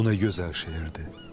Bu nə gözəl şeirdir.